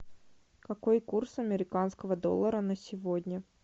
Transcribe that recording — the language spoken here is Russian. какой курс американского доллара на сегодня